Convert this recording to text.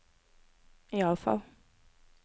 iallfall